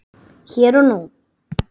Hér og nú.